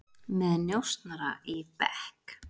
Með njósnara í bekk